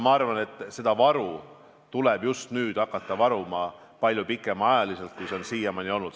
Ma arvan, et seda varu tuleb just nüüd hakata varuma palju pikemaks ajaks, kui see on siiamaani olnud.